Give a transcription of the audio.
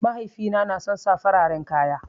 Mahaifina na son sa fararen kaya